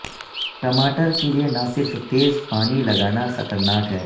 ٹماٹر کے لئے نہ صرف تیز پانی لگانا خطرناک ہے